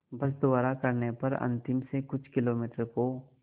बस द्वारा करने पर अंतिम से कुछ किलोमीटर को